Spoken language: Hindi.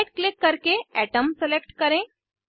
राइट क्लिक करके अतोम सेलेक्ट करें